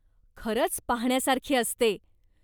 खरंच पाहण्यासारखी असते.